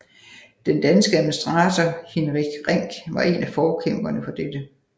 Den danske administrator Hinrich Rink var en af forkæmperne for dette